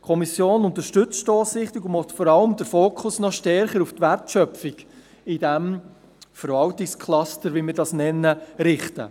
Die Kommission unterstützt die Stossrichtung und will vor allem den Fokus stärker auf die Wertschöpfung in diesem Verwaltungscluster, wie wir dies nennen, richten.